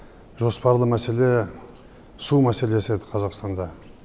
жоспарлы мәселе су мәселесі еді қазақстанда